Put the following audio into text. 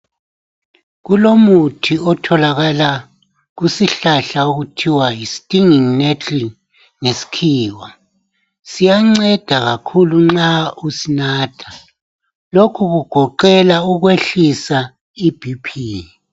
Kulomuthi otholakala kusihlahla okuthiwa yistiningi Netley ngesikhiwa siyanceda kakhulu uma usinatha lokhu kugoqela ukwehlisa ibp.